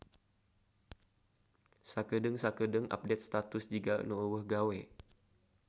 Sakedeung-sakeudeung update status jiga nu euweuh gawe